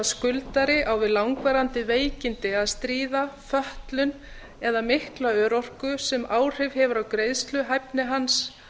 skuldari á við langvarandi veikindi að stríða fötlun eða mikla örorku sem áhrif hefur á greiðsluhæfni hans